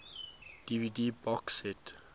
dvd box set